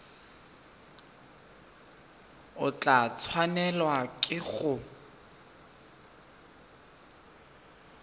o tla tshwanelwa ke go